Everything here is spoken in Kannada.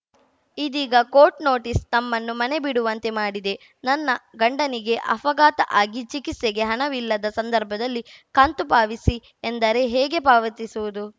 ಇದೀಗ ಕೋರ್ಟ್‌ ನೋಟಿಸ್‌ ತಮ್ಮನ್ನು ಮನೆ ಬಿಡುವಂತೆ ಮಾಡಿದೆ ನನ್ನ ಗಂಡನಿಗೆ ಅಫಘಾತ ಆಗಿ ಚಿಕಿತ್ಸೆಗೆ ಹಣವಿಲ್ಲದ ಸಂದರ್ಭದಲ್ಲಿ ಕಂತು ಪಾವಿಸಿ ಎಂದರೆ ಹೇಗೆ ಪಾವತಿಸುವುದು